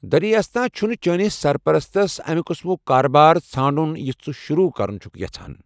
دریں اسنا چھنہٕ چٲنِس سرپرستس امہِ قٕسمُك كاربار ژھانڈُن یُس ژٕ شروع كرُن چھکھ یژھان۔